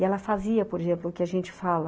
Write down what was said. E ela fazia, por exemplo, o que a gente fala.